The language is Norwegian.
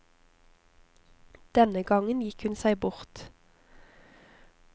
Denne gangen gikk hun seg bort.